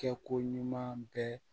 Kɛ ko ɲuman bɛɛ